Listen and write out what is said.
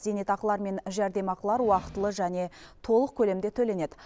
зейнетақылар мен жәрдемақылар уақытылы және толық көлемде төленеді